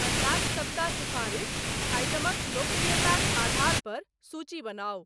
अंडाक सबटा सिफारिश आइटमक लोकप्रियताक आधार पर सूची बनाउ।